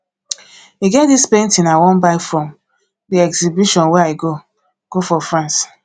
e get dis painting i wan buy from the exhibition wey i go go for france